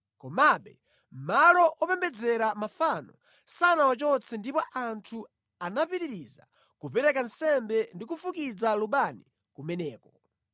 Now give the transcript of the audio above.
Komabe malo opembedzera mafano sanawachotse ndipo anthu anapitiriza kupereka nsembe ndi kufukiza lubani kumeneko.